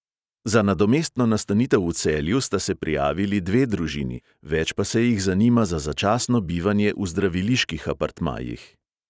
Za nadomestno nastanitev v celju sta se prijavili dve družini, več pa se jih zanima za začasno bivanje v zdraviliških apartmajih.